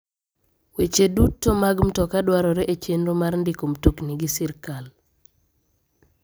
Weche duto mag mtoka dwarore e chenro mar ndiko mtokni gi sirkal.